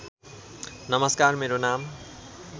नमस्कार मेरो नाम